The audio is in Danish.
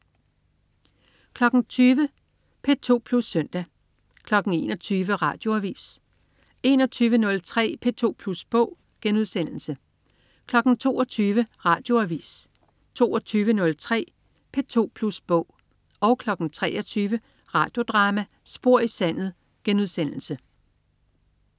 20.00 P2 Plus Søndag 21.00 Radioavis 21.03 P2 Plus Bog* 22.00 Radioavis 22.03 P2 Plus Bog 23.00 Radio Drama: Spor i sandet*